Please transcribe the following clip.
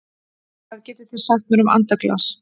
Hvað getið þið sagt mér um andaglas?